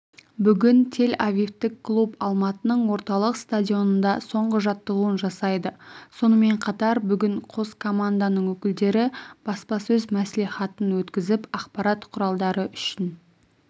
бүгін тель-авивтік клуб алматының орталық стадионында соңғы жаттығуын жасайды сонымен қатар бүгін қос команданың өкілдері баспасөз мәслихатын өткізіп ақпарат құралдары үшін